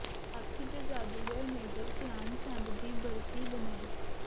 hockey ਦੇ ਜਾਦੂਗਰ major Dhyan Chand ਦੀ ਬਰਸੀ ਮਨਾਈ